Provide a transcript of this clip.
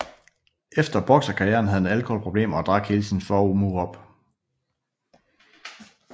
Efter bokserkarrieren havde han alkoholproblemer og drak hele sin formue op